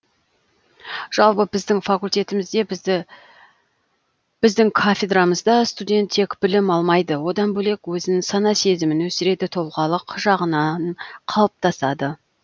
жалпы біздің факультетімізде біздің кафедрамызда студент тек білім алмайды одан бөлек өзін сана сезімін өсіреді тұлғалық жағынан қалыптасады